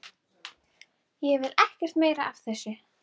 Ég vil ekkert meira af þessu vita.